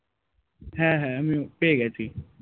হ্যাঁ হ্যাঁ আমিও পেয়ে গেছি